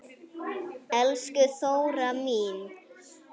Elsku Þóra mín.